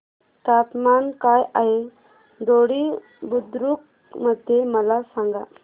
तापमान काय आहे दोडी बुद्रुक मध्ये मला सांगा